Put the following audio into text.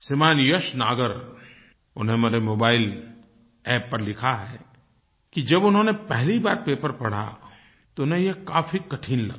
श्रीमान यश नागर उन्होंने हमारे मोबाइल App पर लिखा है कि जब उन्होनें पहली बार पेपर पढ़ा तो उन्हें ये काफी कठिन लगा